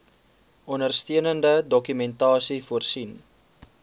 ondersteunende dokumentasie voorsien